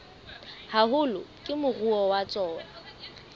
haholo ke moruo wa tsona